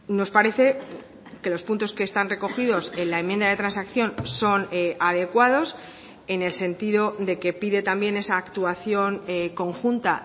nos parece que los puntos que están recogidos en la enmienda de transacción son adecuados en el sentido de que pide también esa actuación conjunta